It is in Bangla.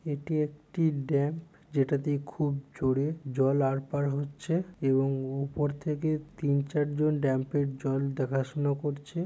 এটি একটি ড্যাম্প । যেটা দিয়ে খুব জোরে জল আড়পার হচ্ছে এবং উপর থেকে তিন চারজন ডাম্পের জল দেখাশোনা করছে।